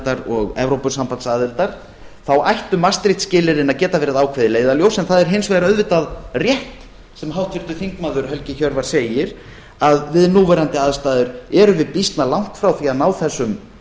evruaðildar og evrópusambandsaðildar þá ættu maastricht skilyrðin að geta verið ákveðið leiðarljós en það er hins vegar auðvitað rétt sem háttvirtur þingmaður helgi hjörvar segir að við núverandi aðstæður erum við býsna langt frá því að ná þessum